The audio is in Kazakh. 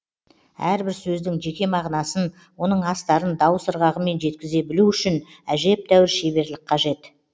әрбір сөздің жеке мағынасын оның астарын дауыс ырғағымен жеткізе білу үшін әжептәуір шеберлік қажет